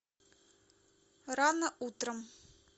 рано утром